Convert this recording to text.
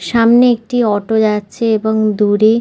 সামনে একটি অটো এবং যাচ্ছে দূরে--